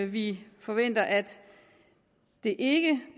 vi forventer at det ikke